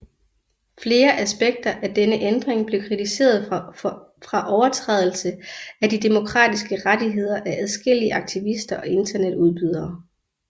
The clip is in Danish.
Flere aspekter af denne ændring blev kritiseret fra overtrædelse af de demokratiske rettigheder af adskillige aktivister og internetudbydere